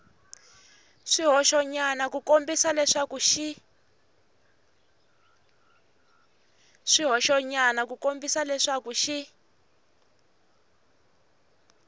swihoxonyana ku kombisa leswaku xi